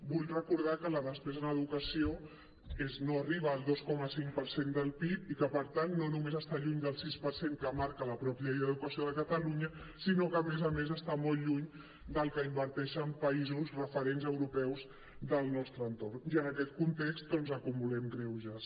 vull recordar que la despesa en educació no arriba al dos coma cinc per cent del pib i que per tant no només està lluny del sis per cent que marca la mateixa llei d’educació de catalunya sinó que a més a més està molt lluny del que inverteixen països referents europeus del nostre entorn i en aquest context doncs acumulem greuges